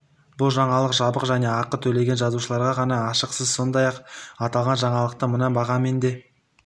бұл жаңалық жабық және ақы төлеген жазылушыларға ғана ашық сіз сондай-ақ аталған жаңалықты мына бағамен де